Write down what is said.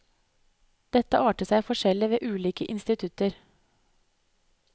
Dette arter seg forskjellig ved ulike institutter.